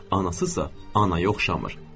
Anası isə anaya oxşamır.